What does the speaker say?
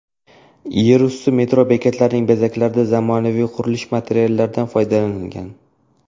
Yerusti metro bekatlarining bezaklarida zamonaviy qurilish materiallaridan foydalanilgan.